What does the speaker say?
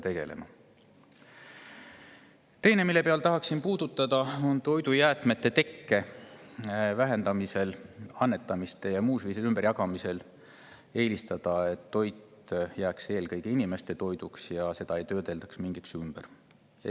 Teine, mida tahaksin puudutada et me toidujäätmete tekke vähendamise, annetamise ja muu ümberjagamise korral eelistaksime, et toit jääks eelkõige inimeste toiduks, et seda ei töödeldaks ümber.